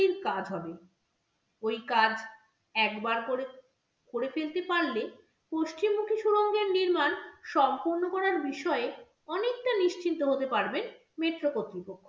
কাজ হবে। ওই কাজ একবার ককরে ফেলতে পারলে পশ্চিমমুখী সুরঙ্গের নির্মাণ সম্পন্ন করার বিষয়ে অনেকটা নিশ্চিন্ত হতে পারবেন metro কতৃপক্ষ।